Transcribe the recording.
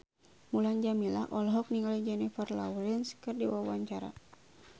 Mulan Jameela olohok ningali Jennifer Lawrence keur diwawancara